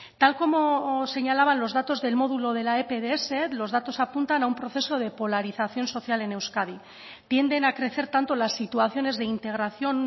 tal como señalaban los datos del módulo de la epds los datos apuntan a un proceso de polarización social en euskadi tienden a crecer tanto las situaciones de integración